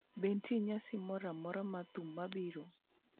Be nitie nyasi moro amora mar thum mabiro?